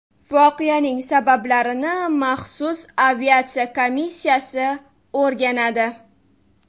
Voqeaning sabablarini maxsus aviatsiya komissiyasi o‘rganadi.